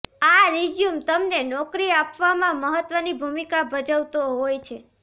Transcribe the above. આ રિઝ્યુમ તમને નોકરી આપવામાં મહત્ત્વની ભૂમિકા ભજવતો હોય છે